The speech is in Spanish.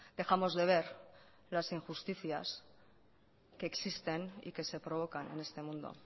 dejamos de ver las injusticias que existen y que se provocan en este mundo